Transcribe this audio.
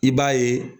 I b'a ye